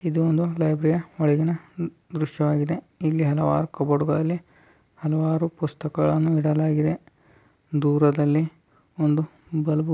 ಇದು ಒಂದು ಲೈಬ್ರರಿ ನ್ ಒಳಗಿನ ಒಂದು ದೃಶವಾಗಿದೆ . ಇಲ್ಲಿ ಹಲವಾರು ಕಬೋರ್ಡ್ಗಳಲ್ಲಿ ಹಲವಾರು ಪುಸ್ತಕಗಳನ್ನ ಇಡಲಾಗಿದೆ .ದೂರ್ ದಲ್ಲಿ ಒಂದು ಬಲ್ಬ್ --